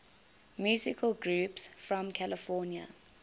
musical groups from california